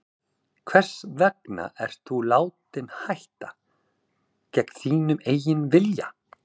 Hvers vegna ert þú látinn hætta, gegn þínum eigin vilja?